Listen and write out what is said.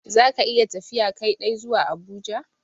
Za ka iya tafiya Kai dai zuwa Abuja?